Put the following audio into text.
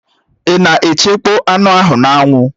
Ị na-echekpọ anụ ahụ n'anwụ?